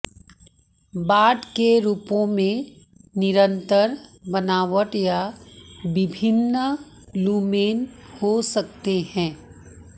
बाड़ के रूपों में निरंतर बनावट या विभिन्न लुमेन हो सकते हैं